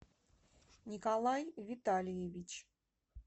николай витальевич